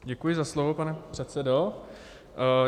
Děkuji za slovo, pane předsedo.